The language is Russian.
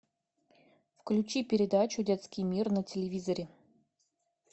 включи передачу детский мир на телевизоре